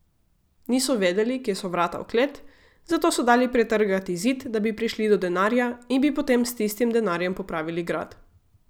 Niso vedeli, kje so vrata v klet, zato so dali pretrgati zid, da bi prišli do denarja, in bi potem s tistim denarjem popravili grad.